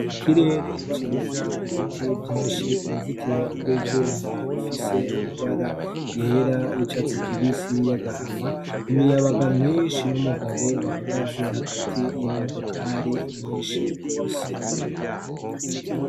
Ikirere ciza ibiti vyinshi .Uruzitiro rw'ivyuma bifise amabara yera, y'icatsi kibisi, y'agahama. lmiyabaga myinshi n'umugabo bahagaze hagati y'imodokari nyinshi rwose.